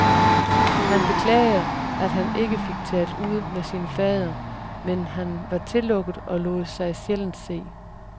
Han beklager, at han ikke fik talt ud med sin fader, men han var tillukket og lod sig sjældent se.